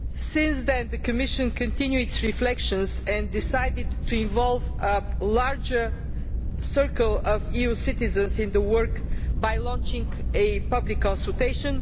Since then, the Commission has continued its reflections and decided to involve a larger circle of EU citizens in the work by launching a public consultation.